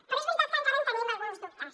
però és veritat que encara tenim alguns dubtes